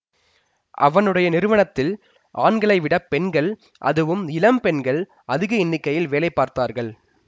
அவனுடைய நிறுவனத்தில் ஆண்களைவிடப் பெண்கள் அதுவும் இளம் பெண்கள் அதிக எண்ணிக்கையில் வேலை பார்த்தார்கள்